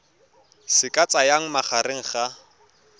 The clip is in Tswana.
se ka tsayang magareng ga